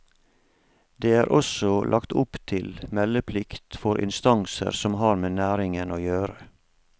Det er også lagt opp til meldeplikt for instanser som har med næringen å gjøre.